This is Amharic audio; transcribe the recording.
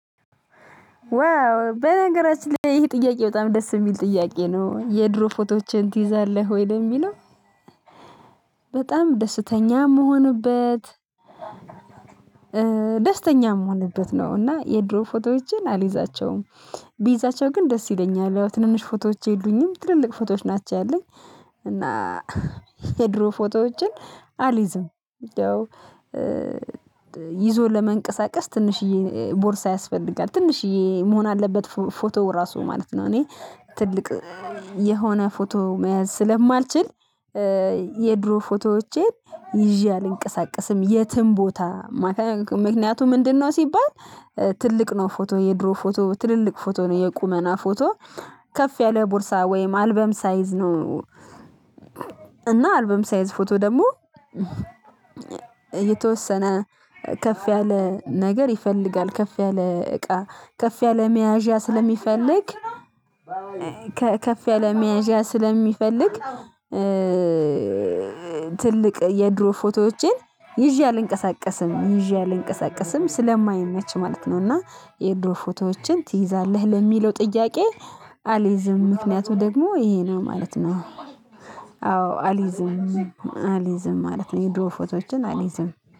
ዋው በነገራችን ላይ ይህ ጥያቄ በጣም ደስ የሚል ጥያቄ ነው የድሮ ፎቶዎችን ትይዛለህ ወይ ነው ለሚለው? በጣም ደስተኛ የምሆንበት። ደስተኛ ምሆነበት ነው እና የድሮ ፎቶዎችን አልይዛቸውም። ቢይዛቸው ግን ደስ ይለኛል ትንንሽ ፎቶዎች የሉኝም ትልልቅ ፎቶዎች ናቸው ያሉኝ። እና የድሮ ፎቶዎችን አልይዝም። ይዞ ለመንቀሳቀስ ትንሽዬ ቦርሳ ያስፈልጋል ትንሽዬ መሆን አለበት ፎቶ ራሱ ማለት ነው። እኔ ትልቅ የሆነ ፎቶ መያዝ ስለማልችል የድሮ ፎቶዎቼን ይዤ አልንቀሳቀስም የትም ቦታ። ምክንያቱ ምንድነው? ሲባል ትልቅ ነው ፎቶ የድሮ ፎቶ ትልልቅ ፎቶ ነው የቁመና ፎቶ ከፍ ያለ ቦርሳ ወይም አልበም ሳይዝ ነው። እና አልበም ሳይዝ ፎቶ ደግሞ የተወሰነ ከፍ ያለ ነገር ይፈልጋል። ከፍ ያለ እቃ ከፍ ያለ መያዣ ስለሚፈልግ ከፍ ያለ መያዣ ስለሚፈልግ። ትልቅ የድሮ ፎቶዎቼን ይዤ አልንቀሳቀስም ይዤ አልንቀሳቀስም ስለማይመች ማለት ነው። እና የድሮ ፎቶዎችን ትይዛለህ ለሚለው ጥያቄ? አልይዝም ምክንያቱ ደግሞ ይሄ ነው ማለት ነው። አዎ አልይዝም አሊይዝም ማለት ነው። የድሮ ፎቶዎችን አልይዝም